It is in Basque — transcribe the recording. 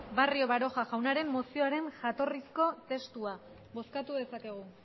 barrio baroja jaunaren mozioaren jatorrizko testua bozkatu dezakegu